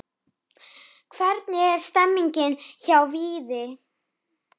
Hvernig er stemningin hjá Víði?